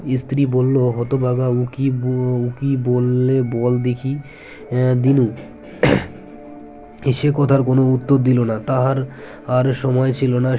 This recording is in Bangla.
ইস্ত্রি বললো হতভাগা উকি ব উকি বললে বল দেখি দীনু সে কথায় কোন উত্তর দিল না তাহার আর সময় ছিল না